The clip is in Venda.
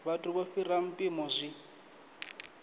vhathu vho fhiraho mpimo zwi